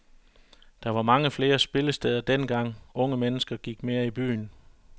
Der var mange flere spillesteder dengang, unge mennesker gik mere i byen.